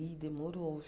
Ih, demorou.